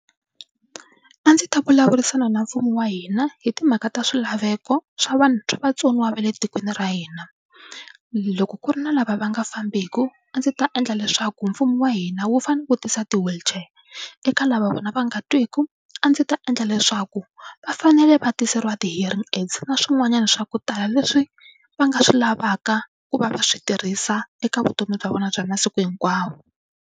A ndzi ta vulavurisana na mfumo wa hina hi timhaka ta swilaveko swa swa vatsoniwa va le tikweni ra hina. Loko ku ri na lava va nga fambeki a ndzi ta endla leswaku mfumo wa hina wu fanele u vutisa ti-wheelchair. Eka lava vona va nga twiki a ndzi ta endla leswaku va fanele va tiseriwa ti-hearing aids na swin'wanyana swa ku tala leswi va nga swi lavaka ku va va swi tirhisa eka vutomi bya vona bya masiku hinkwawo.